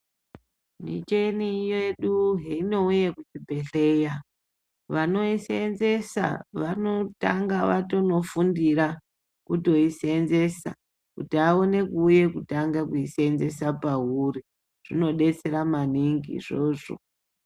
Micheni yedu heinouye kuchibhedhleya, vanoiseenzesa vanotanga vatonofundira kutoiseenzesa kuti aone kuuye kutanga kuiseenzesa pauri. Zvinodetsera maningi izvozvo.